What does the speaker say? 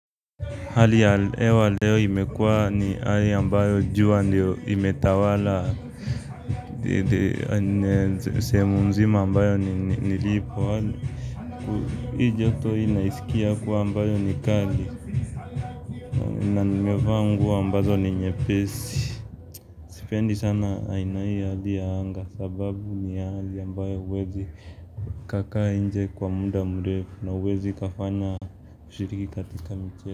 Hali ya hewa leo imekuwa ni hali ambayo jua ndio imetawala sehemu mzima ambayo nilipo hali kuu hii joto inaisikia kwamba ni kali na nimevaa nguo ambazo ni nyepesi sipendi sana aina hii ya hali ya anga sababu ni hali ambayo huwezi ukakaa nje kwa muda mrefu na huwezi kafanya ushiriki katika michezo.